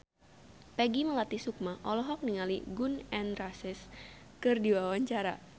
Peggy Melati Sukma olohok ningali Gun N Roses keur diwawancara